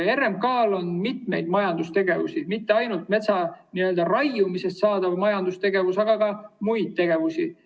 RMK‑l on mitu majandustegevust, mitte ainult metsa raiumisega seotud majandustegevus, on ka muid tegevusi.